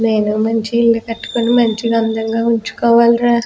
ను మంచి కట్టుకొని మంచిగా అందంగా ఉంచుకోవాలిరా.